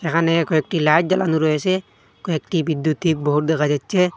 এখানে কয়েকটি লাইট জ্বালানু রয়েসে কয়েকটি বিদ্যুতিক বোর্ড দেখা যাচ্ছে।